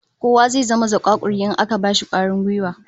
Kowa zai zama zakakuri in aka bashi kwarin gwiwa